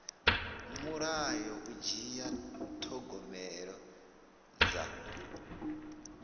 mulayo u dzhia thogomelo dza